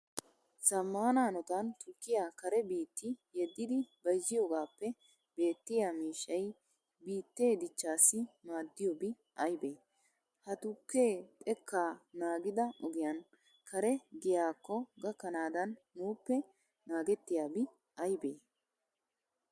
Zammaana hanotan tukkiya Kare biitti yeddidi bayzziyogaappe beettiya miishshay biittee dichchaassi maaddiyobi aybee? Ha tukkee xekkaa naagida ogiyan Kare giyaakko gakkanaadan nuuppe naagettiyabi aybee?